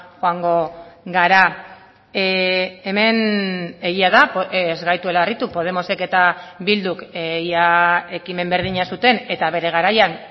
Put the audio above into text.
joango gara hemen egia da ez gaituela harritu podemosek eta bilduk ia ekimen berdina zuten eta bere garaian